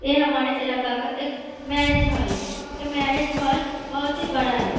ये हमारे इलाके का एक मैरेज हॉल है ये मैरेज हॉल बहोत ही बड़ा है।